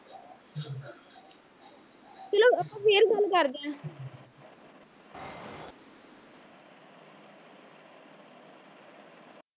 ਚਲੋ ਆਪਾਂ ਫੇਰ ਗੱਲ ਕਰਦੇ ਆ